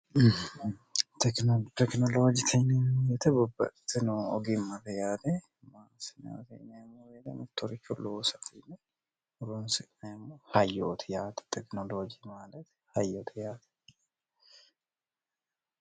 tekinolooji kinimu yete bobbatino ogimmate yaate maasiminmo beedemettoriko loosfiine ronsiemo hayyooti yaate tekinolooji maalati hayyoto yaate